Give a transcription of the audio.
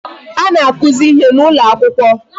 Ana akụzi ihe n'ụlọ akwụkwọ.